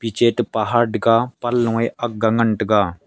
piche te pahar tega panloe e akga ngan tega.